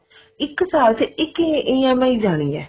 ਇੱਕ ਸਾਲ ਚ ਇੱਕ EMI ਜਾਣੀ ਹੈ